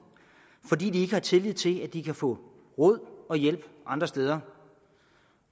fordi de ikke har tillid til at de kan få råd og hjælp andre steder